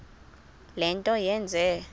le nto yenze